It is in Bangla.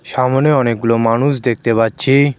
সামনে অনেকগুলো মানুষ দেখতে পাচ্ছি।